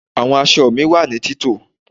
Àwọn aṣọ mí wá ní tito